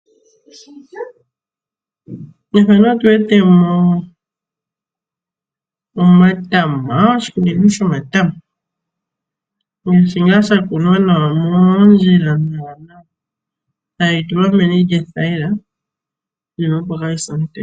Mefano otuwetemo omatama, oshikunino shomatama. shingaa shakunwa moondjila nawa nawa tayi tulwa meni lyothayila iinima opo kaayise omutenya .